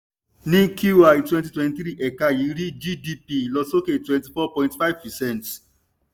ní qi twenty twenty three ẹ̀ka yìí rí gdp ìlọsókè twenty four point five percent.